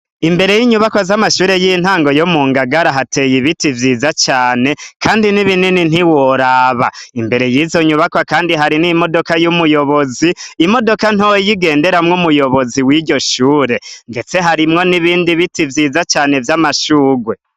Imbere y’inyubakwa z’amashure y’intango yo mu Ngagara hateye ibiti vyiza cane kandi ni binini ntiworaba. Imbere y’izo nyubakwa kandi hari n’imodoka y’umuyobozi, imodoka ntoya igenderamwo umuyobozi w’iryo shure ndetse harimwo n’ibindi biti vyiza cane vy’amashurwe.